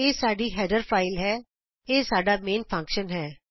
ਇਹ ਸਾਡੀ header file ਹੈ ਇਹ ਸਾਡਾ ਮੇਨ ਫੰਕਸ਼ਨ ਹੈ